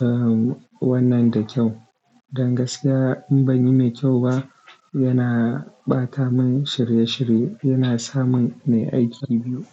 erm, wannan da kyau. Dan gaskiya in ban yi mai kyau ba, yana ɓata min shirye-shirye, yana sa mun nai aiki biyu.